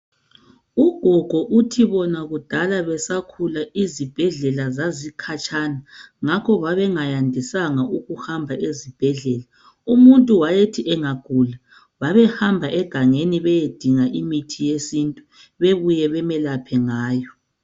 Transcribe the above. Ugogo uthi bona kudala besakhula izibhedlela zazikhatshana. Ngakho babengayandisanga ukuhamba ezibhedlela. Umuntu wayethi angagula babehamba egangeni bayedinga imithi yesintu babuye bamlaphe ngayo.